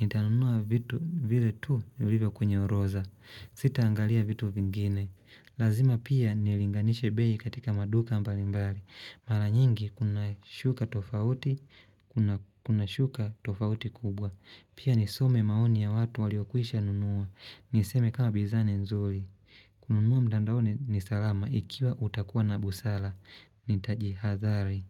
Nitanunuwa vitu vile tu vilivyo kwenye orodha. Sitaangalia vitu vingine. Lazima pia nilinganishe bei katika maduka mbalimbali. Mara nyingi kuna shuka tofauti, kuna shuka tofauti kubwa. Pia nisome maoni ya watu waliokwisha nunua. Niseme kama bidhaa ni nzuri kununua mtandaoni ni salama ikiwa utakuwa na busara. Nitajihadhari.